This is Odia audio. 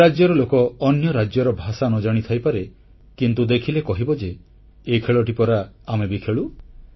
ସେ ରାଜ୍ୟର ଲୋକ ଅନ୍ୟ ରାଜ୍ୟର ଭାଷା ନ ଜାଣି ଥାଇପାରେ କିନ୍ତୁ ଦେଖିଲେ କହିବ ଯେ ଏ ଖେଳଟି ପରା ଆମେ ବି ଖେଳୁ